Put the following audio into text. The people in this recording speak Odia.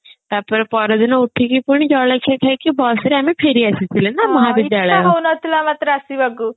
ତାପରେ ପରଦିନ ଉଠିକି ପୁଣି ଜଳଖିଆ ଖାଇକି bus ରେ ଆମେ ଫେରି ଆସିଥିଲେ ନା ମହାବିଦ୍ୟାଳୟ କୁ